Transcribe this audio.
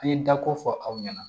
An ye dako fɔ aw ɲɛna